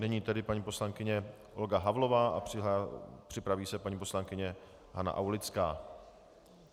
Nyní tedy paní poslankyně Olga Havlová a připraví se paní poslankyně Hana Aulická.